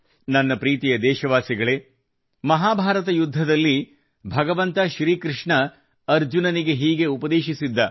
ನನ್ನ ಪ್ರೀತಿಯ ದೇಶಬಾಂಧವರೆ ಮಹಾಭಾರತ ಯುದ್ಧದಲ್ಲಿ ಭಗವಂತ ಶ್ರೀ ಕೃಷ್ಣ ಅರ್ಜುನನಿಗೆ ಹೀಗೆ ಉಪದೇಶಿಸಿದ್ದ